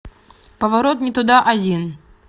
поворот не туда один